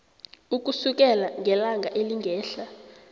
ukusukela ngelanga elingehla